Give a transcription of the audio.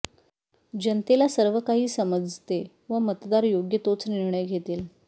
जनतेला सर्व काही समजते व मतदार योग्य तोच निर्णय घेतील